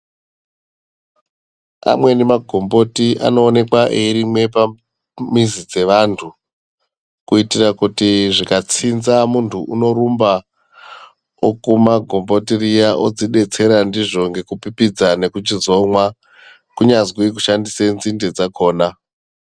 Amweni magomboti anoonekwa eirimwe pamizi dzevantu kuitire kuti zvikatsinza muntu unorumba okuma gomboti riya odzidetsera ndizvo nekupipidza nekuchizomwa kunyazi kushandise nzinde dzakona.